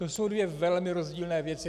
To jsou dvě velmi rozdílné věci.